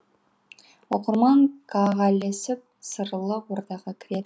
оқырман ка ға ілесіп сырлы ордаға кіреді